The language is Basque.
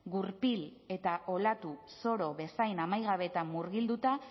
gurpil eta olatu zoro bezain amaigabeetan murgilduta